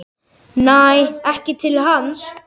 Næ ekki til hans.